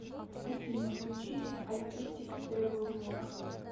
афина включи алкеттик трэвэл влог